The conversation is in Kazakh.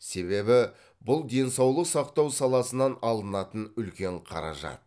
себебі бұл денсаулық сақтау саласынан алынатын үлкен қаражат